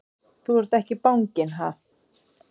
Þú ert ekki banginn, ha!